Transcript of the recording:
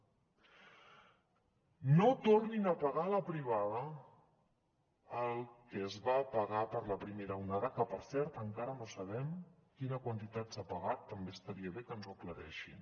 no tornin a pagar a la privada el que es va pagar en la primera onada que per cert encara no sabem quina quantitat s’ha pagat també estaria bé que ens ho aclareixin